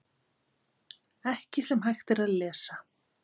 Ekki sem hægt er að lesa